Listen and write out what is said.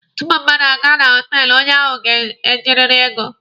Tupu mmadụ aga na họtelụ, onye ahụ ga-ejiriri ego.